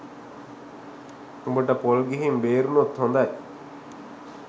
උඹට පොල් ගිහින් බේරුනොත් හොදයි